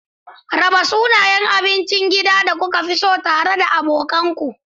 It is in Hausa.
Raba sunayen abincin gida da kuka fi so tare da abokan ku.